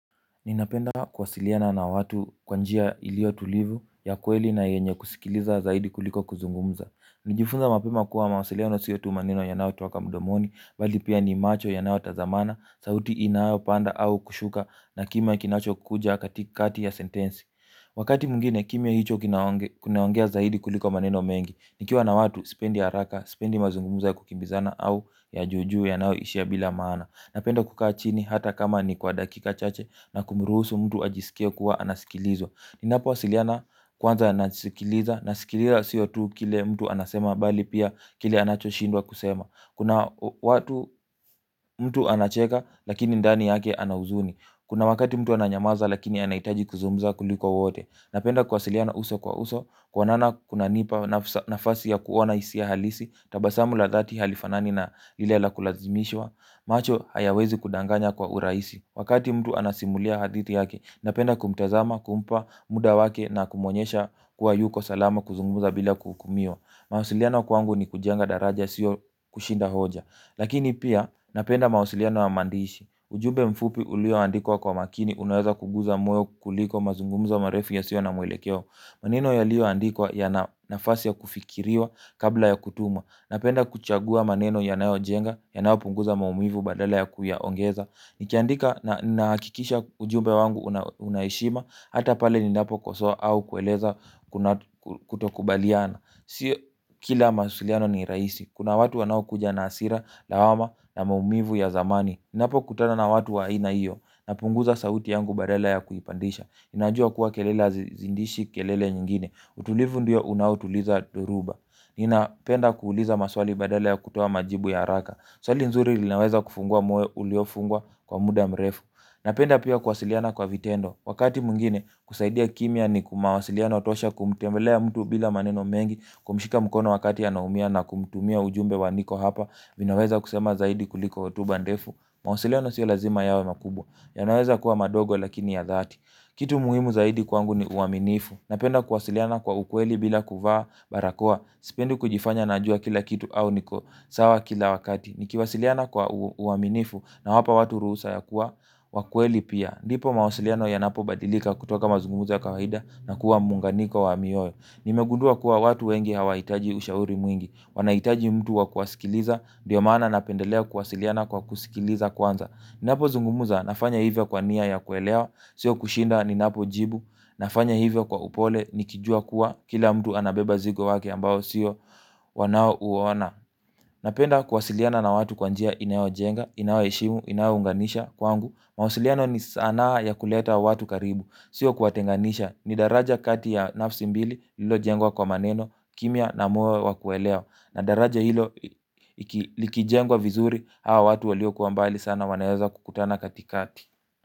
Ninapenda kuwasiliana na watu kwanjia ilio tulivu ya kweli na yenye kusikiliza zaidi kuliko kuzungumza. Nilijifunza mapema kuwa mawasiliano siyo tu maneno ya nayotoka mdomoni, bali pia ni macho yanayo tazamana, sauti inayopanda au kushuka na kima kinacho kuja katika kati ya sentensi. Wakati mwingine kimya hicho kinaongea zaidi kuliko maneno mengi, nikiwa na watu sipendi haraka, sipendi mazungumzo ya kukimbizana au ya juujuu yanayo ishia bila maana. Napenda kukaa chini hata kama ni kwa dakika chache na kumuruhusu mtu ajisikie kuwa anasikilizwa. Ninapowasiliana kwanza anasikiliza, nasikiliza sio tu kile mtu anasema bali pia kile anacho shindwa kusema. Kuna watu mtu anacheka lakini ndani yake anahuzuni. Kuna wakati mtu ananyamaza lakini anahitaji kuzungumza kuliko wote. Napenda kuwa siliana uso kwa uso, kuonana kuna nipa nafasi ya kuona hisia halisi. Tabasamu la dhati halifanani na lile la kulazimishwa. Macho hayawezi kudanganya kwa urahisi. Wakati mtu anasimulia hadithi yake, napenda kumtazama, kumpa muda wake na kumonyesha kuwa yuko salama kuzungumuza bila kuhukumiwa. Mawasiliano kwangu ni kujenga daraja sio kushinda hoja. Lakini pia napenda mawasiliano ya maandishi. Ujumbe mfupi ulio andikwa kwa makini unaweza kugusa moyo kuliko mazungumzo marefu ya sio na mwelekeo. Maneno ya lio andikwa ya nafasi ya kufikiriwa kabla ya kutumwa. Napenda kuchagua maneno ya nayo jenga ya nayo punguza maumivu badala ya kuya ongeza. Nikiandika na nahakikisha ujumbe wangu unaheshima. Hata pale ni napo kosoa au kueleza kutokubaliana. Sio kila mawasiliano ni rahisi. Kuna watu wanao kuja na hasira, lawama na maumivu ya zamani. Napo kutana na watu wa aina hiyo na punguza sauti yangu badala ya kuipandisha. Inajua kuwa kelele azi zidishi kelele nyingine. Utulivu ndio unautuliza dhoruba. Nina penda kuuliza maswali badala ya kutoa majibu ya haraka swali nzuri linaweza kufungua moyo uliofungwa kwa muda mrefu. Napenda pia kuwasiliana kwa vitendo. Wakati mwingine kusaidia kimya ni kumawasiliano tosha kumtembelea mtu bila maneno mengi. Kumshika mkono wakati anaumia na kumtumia ujumbe wa niko hapa ninaweza kusema zaidi kuliko hotuba ndefu. Mawasiliano siyo lazima yawe makubwa. Yanaweza kuwa madogo lakini ya zati. Kitu muhimu zaidi kwangu ni uaminifu. Napenda kuwasiliana kwa ukweli bila kuvaa barakoa. Sipendi kujifanya najua kila kitu au niko sawa kila wakati. Nikiwasiliana kwa uaminifu na wapa watu ruhusa ya kuwa wakweli pia. Ndipo mawasiliano ya napo badilika kutoka mazungumzo kawaida na kuwa munganiko wa mioyo. Ni megundua kuwa watu wengi hawahitaji ushauri mwingi. Wanahitaji mtu wa kuwasikiliza ndio maana napendelea kuwasiliana kwa kusikiliza kwanza. Ni napo zungumuza nafanya hivyo kwa nia ya kuelewa. Sio kushinda ni napo jibu. Nafanya hivyo kwa upole nikijua kuwa kila mtu anabeba zigo wake ambao sio wanaouona. Napenda kuwasiliana na watu kwanjia inayo jenga. Inayo heshimu, inayo unganisha kwangu. Mawasiliano ni sanaa ya kuleta watu karibu. Sio kuwa tenganisha. Ni daraja kati ya nafsi mbili lilo jengwa kwa maneno kimya na moyo wakuelewa na daraja hilo ikijengwa vizuri hawa watu walio kuwa mbali sana wanaweza kukutana katikati.